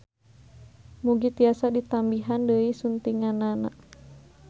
Mugi tiasa ditambihan deui suntinganna.